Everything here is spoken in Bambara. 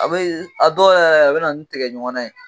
A be a dɔ yɛrɛ la a be na ni tigɛ ɲɔgɔn ya ye